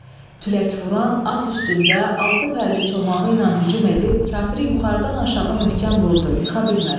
Tülək vuran at üstündə altı pərli çomağı ilə hücum edib kafiri yuxarıdan aşağı möhkəm vurdu, yıxa bilmədi.